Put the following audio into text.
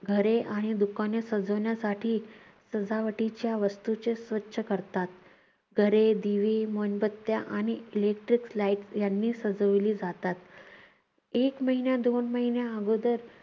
घरे आणि दुकाने सजावण्यासाठी सजावटीच्या वस्तूंचे स्वच्छ करतात. घरे दिवे मेणबत्त्या आणि इलेक्ट्रिक लाईट यांनी सजवली जातात. एक महिन्या, दोन महिन्या आगोदर